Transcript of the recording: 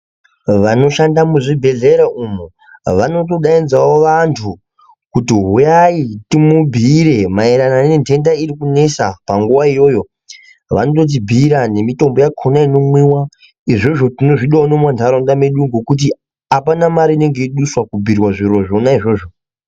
Vanoshanda muzvibhedhlera umo vanotodaidzawo vantu kuti huyai timubhuyire maererano nendenda iri kunetsa panguva iyoyo vanototibhuyira nemitombo yakona inomwiwa izvozvo tinozvidawo mumandaraunda edu nekuti apana mari inenge yeiduswa kubhuyirwa zvona izvozvo.